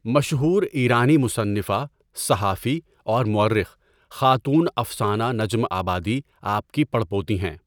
ٓٓمشہور ایرانی مصنفہ، صحافی اور مورخ خاتون افسانہ نجم آبادی آپ کی پڑپوتی ہیں.